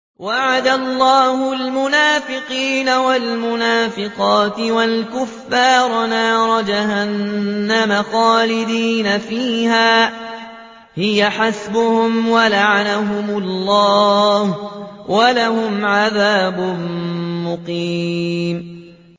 وَعَدَ اللَّهُ الْمُنَافِقِينَ وَالْمُنَافِقَاتِ وَالْكُفَّارَ نَارَ جَهَنَّمَ خَالِدِينَ فِيهَا ۚ هِيَ حَسْبُهُمْ ۚ وَلَعَنَهُمُ اللَّهُ ۖ وَلَهُمْ عَذَابٌ مُّقِيمٌ